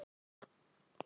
Og riðuðu.